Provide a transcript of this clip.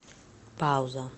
пауза